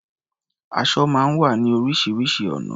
Aṣọ máa ń wá ní oríṣiríṣi ọ̀nà.